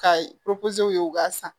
Ka ye u ka san